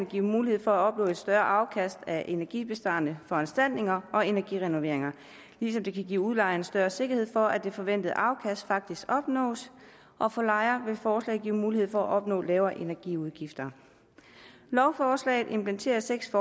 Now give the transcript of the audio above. give mulighed for at opnå et større afkast af energibesparende foranstaltninger og energirenoveringer ligesom det kan give udlejerne større sikkerhed for at det forventede afkast faktisk opnås og for lejere vil forslaget give mulighed for at opnå lavere energiudgifter lovforslaget implementerer seks